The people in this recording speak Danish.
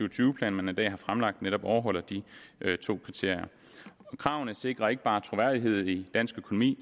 og tyve plan man i dag har fremlagt netop overholder de to kriterier kravene sikrer ikke bare troværdighed i dansk økonomi